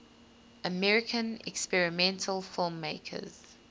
american experimental filmmakers